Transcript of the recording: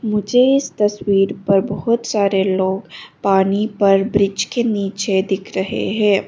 मुझे इस तस्वीर पर बहुत सारे लोग पानी पर ब्रिज के नीचे दिख रहे हैं।